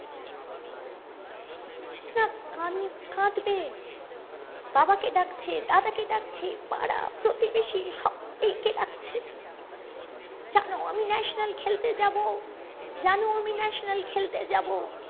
না কান কাঁদবে বাবা কে ডাকছে দাদা কে ডাকছে পাড়া প্রতিবেশী সব্বাই ক ডাকছে জানো আমি ন্যাশনাল খেলতে যাবো জানো আমি ন্যাশনাল খেলতে যাবো